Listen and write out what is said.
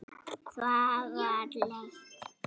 Það var leitt.